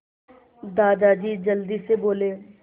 दादाजी जल्दी से बोले